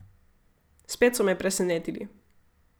Spet so me presenetili.